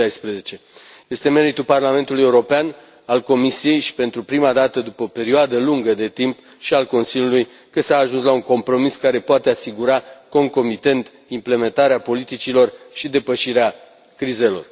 2016. Este meritul Parlamentul European, al Comisiei și, pentru prima dată după o perioadă lungă de timp, și al Consiliului că s a ajuns la un compromis care poate asigura concomitent implementarea politicilor și depășirea crizelor.